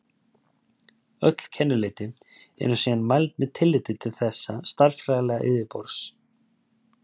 Öll kennileiti eru síðan mæld með tilliti til þessa stærðfræðilega yfirborðs.